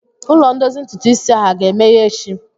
Ụlọ ndozi ntụtụ isi ahụ aga-emeghe echi?